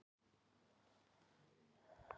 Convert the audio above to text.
Slíkar rauntölur kallast einu nafni óræðar tölur.